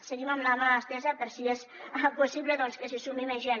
seguim amb la mà estesa per si és possible doncs que s’hi sumi més gent